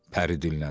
pəri dilləndi.